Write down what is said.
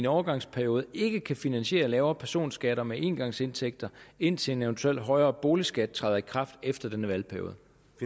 overgangsperiode ikke kan finansiere lavere personskatter med engangsindtægter indtil en eventuelt højere boligskat træder i kraft efter denne valgperiode